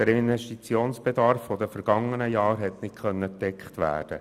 Der Investitionsbedarf der vergangenen Jahre konnte nicht gedeckt werden.